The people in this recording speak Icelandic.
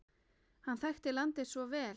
Hann þekkti landið svo vel.